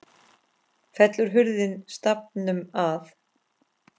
Fellur hurðin stafnum að.